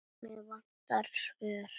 Mig vantar svör.